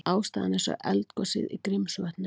Ástæðan er sögð eldgosið í Grímsvötnum